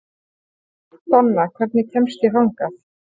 Donna, hvernig kemst ég þangað?